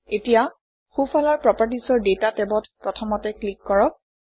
এতিয়া সোঁফালৰ properties অৰ ডাটা টেবত প্ৰথমতে ক্লিক কৰক